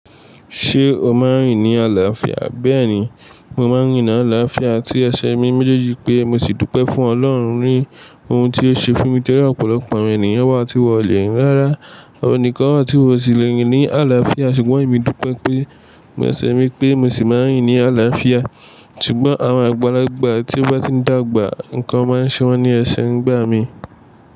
Ṣé o máa ń rìn ní àlàáfíà? Bẹ́ẹ̀ni, mo máa ń rìn ní àlàáfíà àti ẹsẹ̀ mi méjèèjì pé mo sì dúpẹ́ fún Ọlọ́run rí ohun tí ó ṣe fún mi tẹ́lẹ̀. Ọ̀pọ̀lọpọ̀ àwọn ènìyàn wá ti wọlé rín rara, àwọn kan wá tí wọn ò tíì lè rìn ní àlàáfíà ṣùgbọ́n èmi dúpẹ́ pé, mo ṣẹ̀ mí pé mo sì máa ń rìn ní àlàáfíà. Ṣùgbọ́n àwọn àgbàlagbà tí gbà ti ń dàgbà, nǹkan máa ń ṣe wọ́n ní ẹsẹ̀ ń gbà mí.